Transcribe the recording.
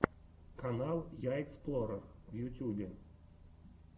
канал я эксплорер в ютюбе